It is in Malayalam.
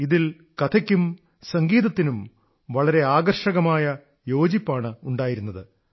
ഇതിൽ കഥയും സംഗീതവും വളരെ ആകർഷകമായി സമന്ജസപ്പെട്ടിരുന്നു